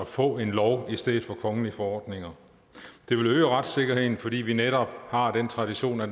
få en lov i stedet for kongelige forordninger det vil øge retssikkerheden fordi vi netop har den tradition at